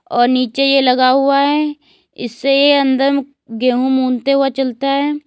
और नीचे ये लगा हुआ है इससे ये अंदर गेहूं मूनते हुए चलता है।